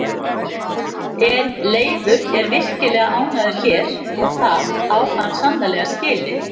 En Leifur er virkilega ánægður hér og það á hann sannarlega skilið.